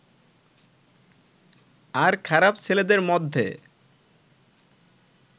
আর খারাপ ছেলেদের মধ্যে